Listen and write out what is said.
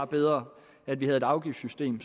bedre at vi havde et afgiftssystem